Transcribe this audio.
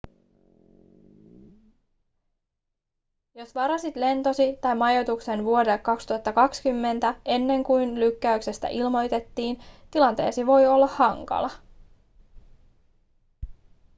jos varasit lentosi tai majoituksen vuodelle 2020 ennen kuin lykkäyksestä ilmoitettiin tilanteesi voi olla hankala